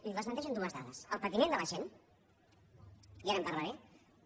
i el desmenteixen dues dades el patiment de la gent i ara en parlaré